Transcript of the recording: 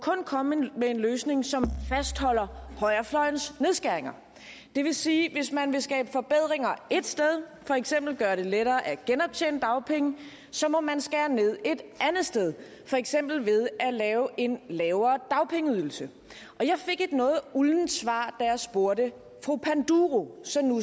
komme med en løsning som fastholder højrefløjens nedskæringer det vil sige at hvis man vil skabe forbedringer ét sted for eksempel ved at gøre det lettere at genoptjene dagpenge så må man skære ned et andet sted for eksempel ved at lave en lavere dagpengeydelse jeg fik et noget uldent svar da jeg spurgte fru panduro så nu